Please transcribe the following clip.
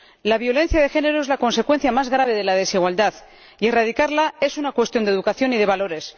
La violencia de género es la consecuencia más grave de la desigualdad, y erradicarla es una cuestión de educación y de valores.